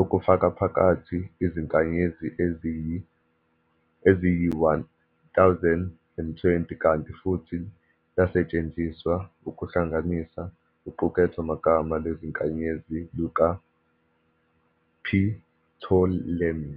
okufakaphakathi izinkanyezi eziyi-1020, kanti futhi lasetshenziswa ukuhlanganisa uqukethomagama lwezinkanyezi lukaPtolemy.